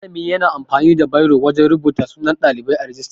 Malami yana amfani da biro wajan rubuta sunan Ɗalibai a rijista.